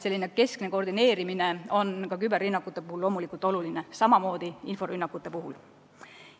Keskne koordineerimine on ka küberrünnakute puhul loomulikult oluline, samamoodi inforünnakute puhul.